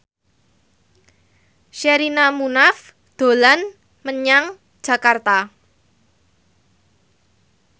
Sherina Munaf dolan menyang Jakarta